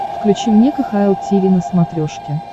включи мне кхл тиви на смотрешке